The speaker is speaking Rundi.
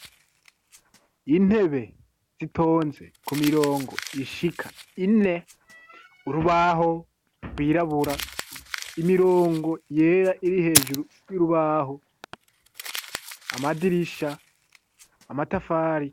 Intebe zitonze k'umirongo ishika ine, urubaho rwirabura, imirongo yera iri hejuru y'urubaho, amadirisha amatafari.